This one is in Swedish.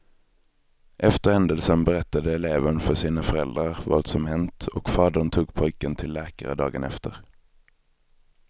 Efter händelsen berättade eleven för sina föräldrar vad som hänt och fadern tog pojken till läkare dagen efter.